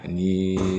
Ani